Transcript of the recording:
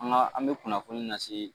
An ka an bɛ kunnafoni lase